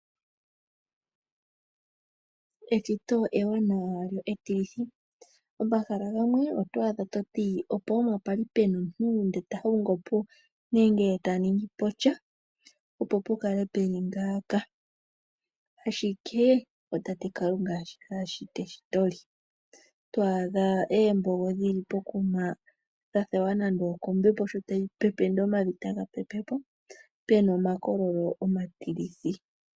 Eshito ewanawa lyo etilithi oto adha ehala limwe toti ashike opwali puna omuntu eta hongopo nenge ta ningi posha, opo pukale peli ngaaka ashike otate Kalunga ashita eshito lye. Twaadha embogo dhili pokuma omavi taga pepwapo kombepo pena omakololo omatilithi.